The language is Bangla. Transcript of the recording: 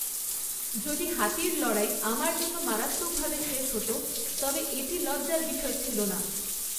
যদি হাতির লড়াই আমার জন্য মারাত্মকভাবে শেষ হত, তবে এটি লজ্জার বিষয় ছিল না।